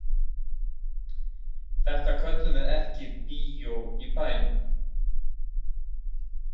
Þetta köllum við ekki bíó í bæn- um.